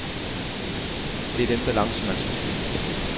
Det er den balance, man skal finde.